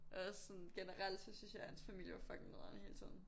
Og også sådan generelt så synes jeg hans familie var fucking nederen hele tiden